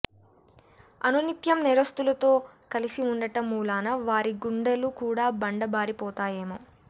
అనునిత్యం నేరస్తులతో కలిసి ఉండటం మూలానా వారి గుండెలు కూడా బండ బారిపోతాయేమో